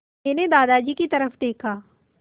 मैंने दादाजी की तरफ़ देखा